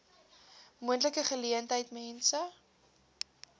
moontlike geleentheid mense